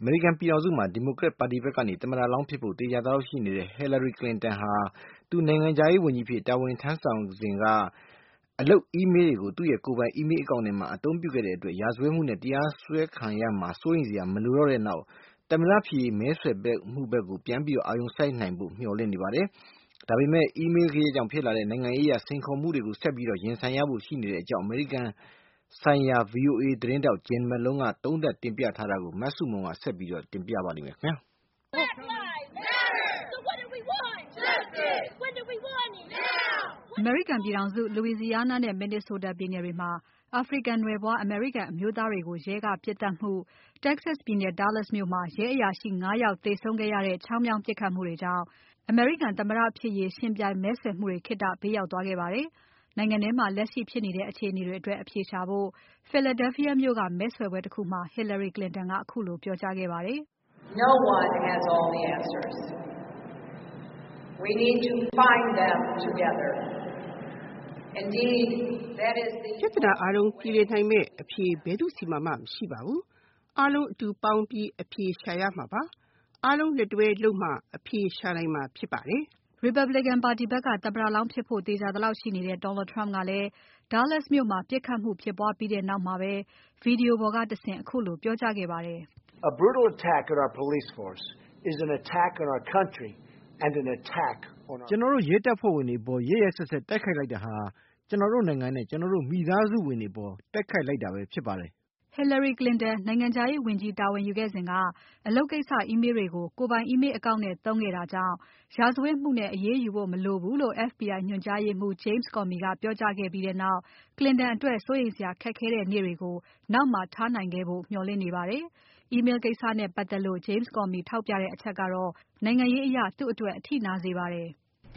အမေရိကန်ပြည်ထောင်စုမှာ Democratic ပါတီဖက်က သမ္မတလောင်းဖြစ်ဖို့ သေချာသလောက် ရှိနေတဲ့ Hillary Clinton ဟာ သူနိုင်ငံခြားရေးဝန်ကြီးအဖြစ် တာဝန်ထမ်းဆောင်နေစဉ်က အလုပ် Email တွေကို ကိုယ်ပိုင် Email account ကိုအသုံးပြုခဲ့တဲ့အတွက်ရာဇဝတ်မှုနဲ့ တရားစွဲခံရမှာ စိုးရိမ်စရာ မလိုတော့တဲ့နောက် သမ္မတဖြစ်ရေး မဲဆွယ်မှုတွေဖက်ကို ပြန်ပြီး အာရုံစိုက်နိုင်ဖို့ မျှော်လင့်နေပါတယ်၊ ဒါပေမဲ့ ဒီ Email ဂယက်ကြောင့် ဖြစ်လာတဲ့ နိုင်ငံရေးအရ စိန်ခေါ်မှုတွေကို ဆက်ပြီးရင်ဆိုင်ရဖို့ ရှိနေတဲ့အကြောင်း အမေရိကန်ဆိုင်ရာ VOA သတင်းထောက် Jim Malone ကသတင်းသုံးသပ်ထားပါတယ်၊ မစုမြတ်မွန်က ဆက်ပြီးတင်ပြပါလိမ့်မယ်။ အမေရိကန်ပြည်ထောင်စု Louisiana နဲ့ Minnesota ပြည်နယ်တွေမှာ အာဖရိကန်နွယ်ဖွား အမေရိကန်အမျိုးသားတွေကို ရဲက ပြစ်သတ်မှု၊ Texas ပြည်နယ် Dallas မြို့မှာ ရဲအရာရှိ ၅ ယောက် သေဆုံးခဲ့ရတဲ့ ချောင်းမြောင်း ပစ်ခတ်မှုတွေကြောင့် အမေရိကန်သမ္မတဖြစ်ရေး ယှဉ်ပြိုင်မဲဆွယ်မှုတွေ ခေတ္တ ဘေးရောက်သွားခဲ့ပါတယ်၊ နိုင်ငံထဲမှာ လက်ရှိဖြစ်နေတဲ့ အခြေအနေတွေအတွက် အဖြေရှာရေးကို Philadelphia မြို့က မဲဆွယ်ပွဲတခုမှာ Hillary Clinton က ခုလိုပြောကြားခဲ့ပါတယ်။ ”ပြဿနာအားလုံးပြေလည်နိုင်မဲ့အဖြေ ဘယ်သူ့ဆီမှာမှ မရှိပါဘူး၊ အားလုံးအတူပေါင်းပြီး အဖြေရှာရမှာပါ၊ အားလုံးလက်တွဲလုပ်မှ အဖြေရှာနိုင်မှာဖြစ်ပါတယ်။” Republican ပါတီဖက်က သမ္မတလောင်းဖြစ်ဖို့ သေချာသလောက်ရှိနေတဲ့ Donald Trump ကလဲ Dallas မြို့မှာ ပြစ်ခတ်မှုဖြစ်ပွားခဲ့ပြီးနောက်မှာပဲ Video ပေါ်ကတဆင့် ခုလိုပြောကြားခဲ့ပါတယ်။ “ကျွန်တော်တို့ ရဲတပ်ဖွဲ့ဝင်တွေအပေါ် ရက်ရက်စက်စက် တိုက်ခိုက်တာဟာ ကျွန်တော်တို့နိုင်ငံနဲ့ ကျွန်တော်တို့ မိသားစုဝင်တွေအပေါ် တိုက်ခိုက် လိုက်တာပဲဖြစ်ပါတယ်။” Hillary Clinton နိုင်ငံခြားရေးဝန်ကြီးတာဝန်ယူခဲ့စဉ် အလုပ်ကိစ္စ Email တွေကို ကိုယ်ပိုင် Email account နဲ့သုံးခဲ့တာကြောင့် ရာဇဝတ်မှုနဲ့ အရေးယူဖို့ မလိုဘူးလို့ FBI ညွှန်ကြားရေးအမှူး James Comey ကပြောခဲ့ပြီးနောက် Clinton အတွက် စိုးရိမ်စရာ ခက်ခဲတဲ့နေ့တွေကို နောက်မှာထားခဲ့နိုင်ဖို့ မျှော်လင့်နေပါတယ်၊ Email ကိစ္စနဲ့ပါတ်သက်လို့ James Comey ထောက်ပြခဲ့တဲ့ အချက်ကတော့ နိုင်ငံရေးအရ သူ့အတွက် အထိနာစေပါတယ်။ “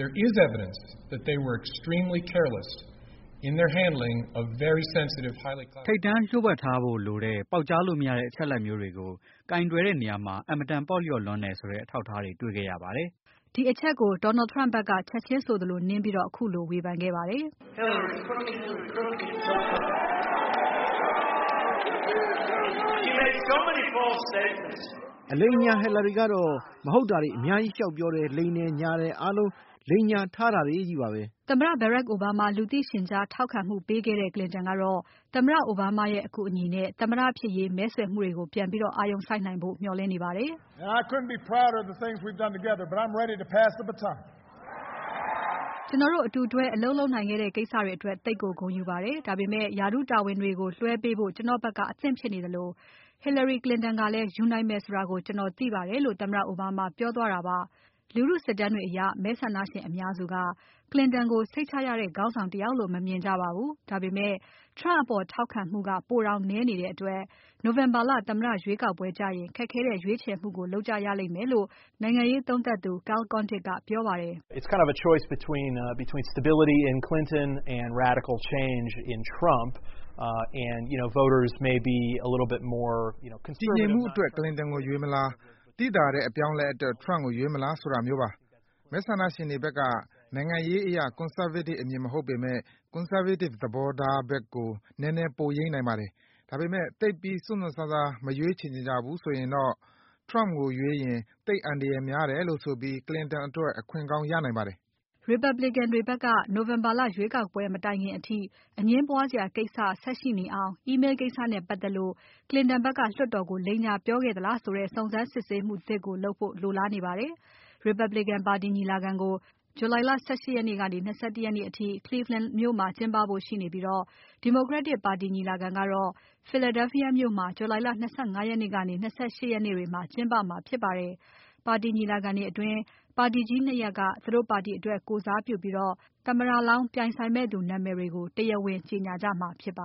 ထိပ်တန်းလှို့ဝှက်ထားဖို့လိုတဲ့ ပေါက်ကြားလို့မရတဲ့အချက်အလက်မျိုးတွေကို ကိုင်တွယ်တဲ့နေရာမှာ အင်မတန် ပေါ့လျော့လွန်းတယ်ဆိုတဲ့ အထောက်အထားတွေ တေ့ွခဲ့ရပါတယ်၊” ဒီအချက်ကို Donald Trump ဖက်က ချက်ချင်းဆိုသလို နင်းပြီး ခုလို ဝေဖန်ခဲ့ပါတယ်။ “အလိမ်အညာ Hillary ကတော့ မဟုတ်တာတွေအများကြီး လျှောက်ပြောတယ်၊ လိမ်တယ်၊ ညာတယ်၊ အားလုံး လိမ်ညာထားတာတွေကြီးပါပဲ၊” သမ္မတ Barack Obama လူသိရှင်ကြားထောက်ခံမှုပေးခဲ့တဲ့ Clinton ကတော့ သမ္မတ အိုဘားမားရဲ့ အကူအညီနဲ့ သမ္မတဖြစ်ရေး မဲဆွယ်မှုတွေကို ပြန်ပြီး အာရုံစိုက်နိုင်ဖို့ မျှော်လင့်နေပါတယ်။ ကျွန်တော်တို့ အတူတွဲအလုပ်လုပ်နိုင်ခဲ့တဲ့ ကိစ္စတွေအတွက် သိပ်ကိုဂုဏ်ယူပါတယ်။ ဒါပေမဲ့ ရာထူးတာဝန်တွေကို လွှဲပေးဖို့ ကျွန်တော့်ဖက်က အသင့်ဖြစ်နေသလို Hillary Clinton ကလဲ ယူနိုင်မယ်ဆိုတာကို ကျွန်တော်သိပါတယ်လို့ သမ္မတအိုဘားမားပြောသွားတာပါ၊ လူထုစစ်တမ်းတွေအရ မဲဆန္ဒရှင်အများစုက Clinton ကို စိတ်ချရတဲ့ခေါင်းဆောင်တယောက်လို့ မမြင်ကြပါဘူး၊ ဒါပေမဲ့ Trump အပေါ်ထောက်ခံမှုက ပိုတောင်နည်းနေတဲ့အတွက် November လ သမ္မတရွေးကောက်ပွဲကျရင် ခက်ခဲတဲ့ ရွေးချယ်မှုကို လုပ်ကြရလိမ့်မယ်လို့ နိုင်ငံရေးသုံးသပ်သူ Kyle Kondik ကပြောပါတယ်။ ”တည်ငြိမ်မှုအတွက် Clinton ကိုရွေးမလား၊ သိသာတဲ့အပြောင်းအလဲအတွက် Trump ကိုရွေးမလားဆိုတာမျိုးပါ၊ မဲဆန္ဒရှင်တွေဖက်က နိုင်ငံရေးအရ conservative အမြင်မဟုတ်ပေမဲ့ conservative သဘောာထားဖက်ကို နည်းနည်း ပိုယိမ်းနိုင်ပါတယ်။ ဒါပေမဲ့ သိပ်ပြီး စွန့်စွန့်စားစား မရွေးချယ်ချင်ကြဘူးဆိုရင်တော့ Trump ကိုရွေးရင် သိပ်အန္တရာယ်များတယ်လို့ဆိုပြီး Clinton အတွက် အခွင့်ကောင်းရနိုင်ပါတယ်။” Republican တွေဖက်ကတော့ November လ ရွေးကောက်ပွဲမတိုင်ခင်အထိ အငြင်းပွားစရာ ကိစ္စ ဆက်ရှိနေအောင် Email ကိစ္စနဲ့ပါတ်သက်လို့ Clinton ဖက်က လွှတ်တော်ကို လိမ်ညာပြောခဲ့သလားဆိုတဲ့ စုံစမ်းစစ်ဆေးမှုသစ်လုပ်ဖို့ လိုလားနေပါတယ်။ Republican ပါတီညီလာခံကို July လ ၁၈ ရက်နေ့ ကနေ ၂၁ ရက်နေ့အထိ Cleveland မြို့မှာ ကျင်းပဖို့ရှိနေပြီး Democratic ပါတီညီလာခံကတော့ Philadelphia မြို့မှာ July လ ၂၅ ရက်နေ ၂၈ ရက်နေ့တွေမှာ ကျင်းပမှာဖြစ်ပါတယ်၊ ပါတီညီလာခံတွေအတွင်း ပါတီကြီး ၂ ရပ်က သူတို့ပါတီအတွက် ကိုယ်စားပြုပြီး သမ္မတလောင်း ပြိုင်ဆိုင်မဲ့သူနာမည်တွေကို တရားဝင်ကြေညာကြမှာဖြစ်ပါ